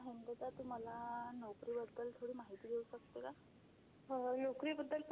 हं, अमृता तू मला नोकरीबद्दल थोडी माहिती देऊ शकते का?